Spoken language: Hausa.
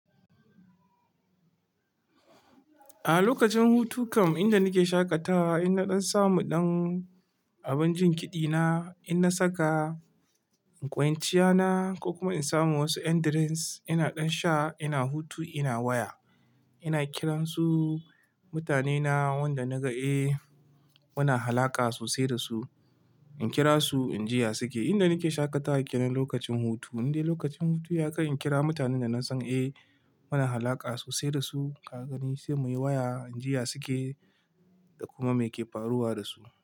A lokacin hutukan inda nake shaƙatawa ina ɗan samu ɗan abun jin kiɗi na, ina saka in kwanciya na ko kuma in samu wasu yan drinks ina ɗan sha ina hutu ina waya. Ina kiran su mutane na wanda na ga eh muna alaƙa sosai da su. In kira su in jiya suke. Inda nake shaƙatawa kenan lokacin hutu. Inde lokacin hutu ya kai in kira mutanen da na san eh muna alaƙa sosai da su, ka gani sai muyi waya injiya suke da kuma me ke faruwa da su.